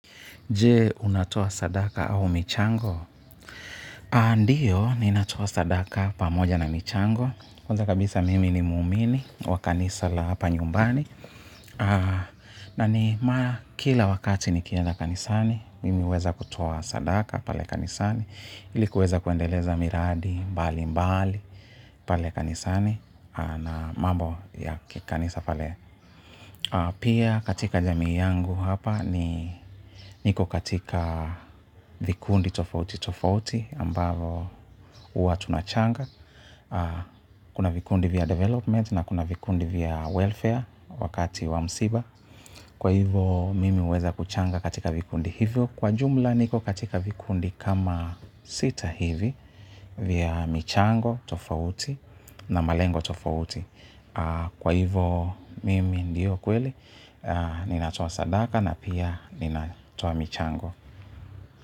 Jee, unatoa sadaka au michango? A ndiyo, ninatoa sadaka pamoja na michango. Kwanza kabisa mimi ni muumini wa kanisa la hapa nyumbani. Na ni maa kila wakati nikienda kanisani, mimi huweza kutoa sadaka pale kanisani. Ilikuweza kuendeleza miradi mbalimbali pale kanisani na mambo ya kikanisa pale. Pia katika jamii yangu hapa ni niko katika vikundi tofauti tofauti ambavo huwa tunachanga. Kuna vikundi vya development na kuna vikundi vya welfare wakati wa msiba. Kwa hivo mimi huweza kuchanga katika vikundi hivyo. Kwa jumla niko katika vikundi kama sita hivi vya michango tofauti na malengo tofauti. Kwa hivo mimi ndio kweli. Ninatoa sadaka na pia ninatoa michango.